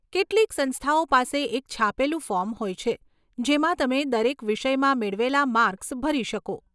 કેટલીક સંસ્થાઓ પાસે એક છાપેલું ફોર્મ હોય છે જેમાં તમે દરેક વિષયમાં મેળવેલાં માર્ક્સ ભરી શકો.